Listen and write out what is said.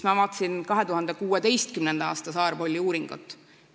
Ma vaatasin 2016. aasta Saar Polli uuringut.